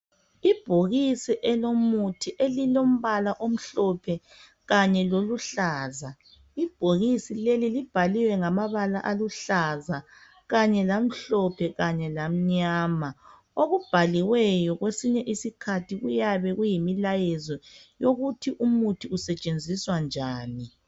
Ibhokisi elilomuthi elilombala omhlophe kanye loluhlaza. Ibhokisi leli libhaliwe ngamabala aluhlaza kanye lamhlophe kanye lamnyama. Okubhaliweyo kwesinye isikhathi kuyabe kuyimlayezo ukuthi Umuthi usetshenziswa njani.